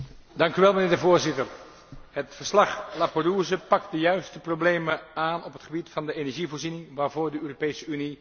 Het verslag Laperrouze pakt de juiste problemen aan op het gebied van de energievoorziening waarvoor de Europese Unie zich nu gesteld ziet.